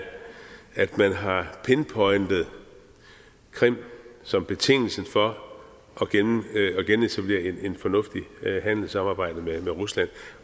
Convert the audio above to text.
at man har pinpointet krim som betingelsen for at genetablere et fornuftigt handelssamarbejde med rusland